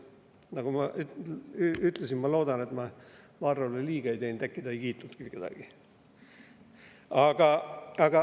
Nagu ma ütlesin, ma loodan, et ma Varrole liiga ei teinud, äkki ta ei kiitnudki kedagi.